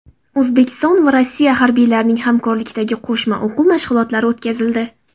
O‘zbekiston va Rossiya harbiylarining hamkorlikdagi qo‘shma o‘quv mashg‘ulotlari o‘tkazildi .